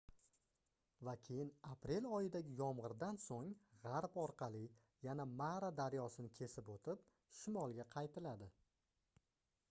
va keyin aprel oyidagi yomgʻirdan soʻng gʻarb orqali yana mara daryosini kesib oʻtib shimolga qaytiladi